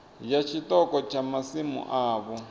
ya tshiṱoko tsha masimu avho